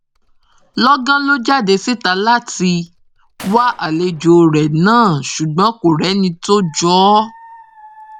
lọgán ló jáde síta láti wá àlejò rẹ náà ṣùgbọn kò rí ẹni tó jọ ọ